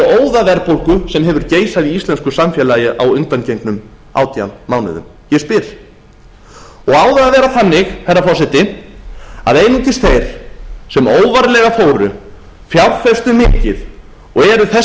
óðaverðbólgu sem hefur geisað í íslensku samfélagi á undangengnum átján mánuðum ég spyr á það að vera þannig herra forseti að einungis þeir sem óvarlega fóru fjárfestu mikið og eru þess